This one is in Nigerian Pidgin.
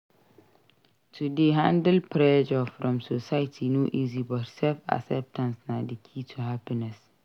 To dey handle pressure from society no easy but self-acceptance na di key to happiness.